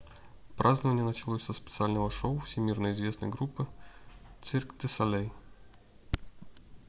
празднование началось со специального шоу всемирно известной группы cirque du soleil